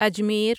Ajmer